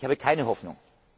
besteht. Ich habe keine